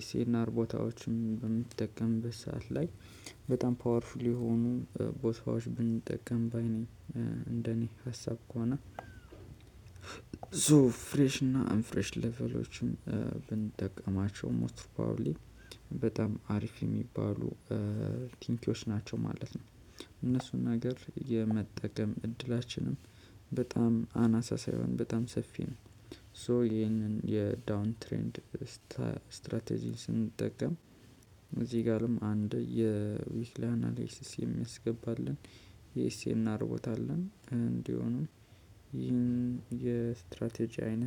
ኤስኤንአር ቦታዎችን በምትጠቀምበት ሰዓት ላይ በጣም ፓወርፉል የሆኑ ቦታዎች ብንጠቀም ባይ ነኝ እንደኔ ሀሳብ ከሆነ ሶ ፍሬሽ እና አንፍሬሽ ሌቭሎችን ብንጠቀማቸው ሞስት ፕሮባብሊ በጣም አሪፍ የሚባሉ ቲንኪዎች ናቸው ማለት ነው። እነሱን ነገር የመጠቀም እድላችንም በጣም አናሳ ሳይሆን በጣም ሰፊ ነ። ሶ ይሄንን የዳውንትሬንድ ስትራቴጂ ስንጠቀም እዚህ ጋርም አንድ የዊትሊ አናሌሲስ የሚያስገባልን የኤስኤንአር ቦታ አለን እንዲሆኑም ይህን የስትራቴጂ አይነት